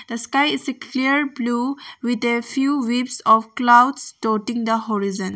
The sky is a clear blue with a few weeps of clouds tauting the horizon.